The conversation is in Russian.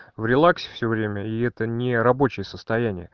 в релаксе всё время и это не рабочее состояние